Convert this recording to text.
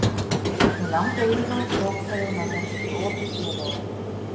Mig langaði í það, hrópaði hún ögrandi upp í opið geðið á honum.